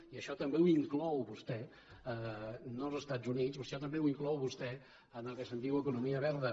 i això també ho inclou vostè no als estats units això també ho inclou vostè en el que se’n diu economia verda